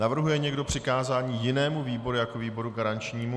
Navrhuje někdo přikázání jinému výboru jako výboru garančnímu?